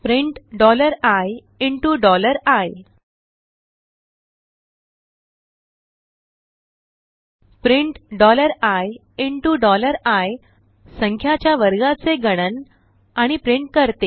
print ii print ii संख्याच्या वर्गाचे गणन आणि प्रिंट करते